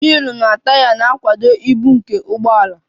na taya na-akwado ibu nke ụgbọ ala